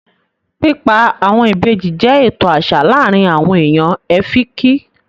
Pípa àwọn ìbejì jẹ́ ètò àṣà láàrin àwon èèyàn Ẹ́fìkì